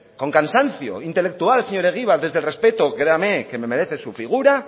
con cansancio intelectual señor egibar desde el respeto créame que me merece su figura